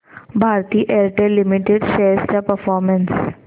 Bharti Airtel limited shares चा performance